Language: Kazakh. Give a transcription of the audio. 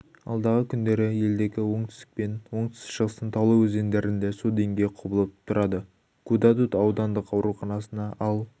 алдағы күндері елдегі оңтүстік пен оңтүстік-шығыстың таулы өзендерінде су деңгейі құбылып тұрады гудаут аудандық ауруханасына ал